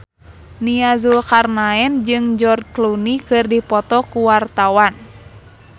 Nia Zulkarnaen jeung George Clooney keur dipoto ku wartawan